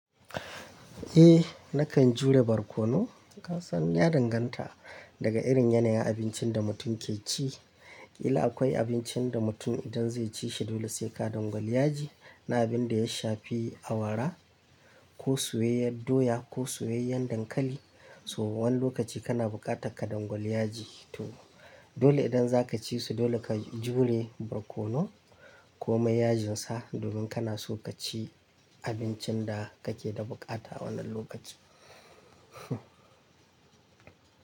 Eh nakan jure barkono. Ka san ya danganta daga irin yanayin abincin da mutum ke ci. Ƙila akwai abincin da mutum idan zai ci shi dole sai ka dangwali yaji. Na abin da ya shafi awara ko soyayyen doya ko soyayyen dankali, so wani lokaci kana buƙatar ka dangwali yaji. To dole idan za ka ci su dole ka jure barkono ko mai yajinsa domin kana so ka ci abincin da kake da buƙata wannan lokaci.